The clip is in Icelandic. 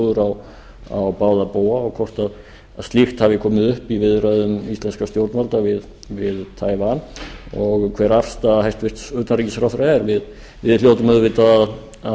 taiwan menningarskrifstofur á báða bóga og hvort slíkt hafi komið upp í viðræðum íslenskra stjórnvalda við taiwan og hver afstaða hæstvirts utanríkisráðherra er við hljótum auðvitað að